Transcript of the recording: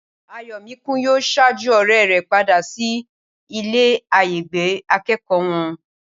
Ayọ̀míkún yóò ṣájú ọ̀rẹ́ rẹ̀ padà sí ilé-àyágbé akẹ́kọ̀ọ́ wọn